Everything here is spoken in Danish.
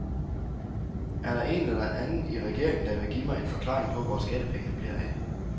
Er der en eller anden i regeringen, der vil give mig en forklaring på, hvor skattepengene bliver af?